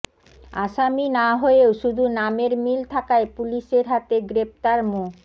আসামি না হয়েও শুধু নামের মিল থাকায় পুলিশের হাতে গ্রেপ্তার মো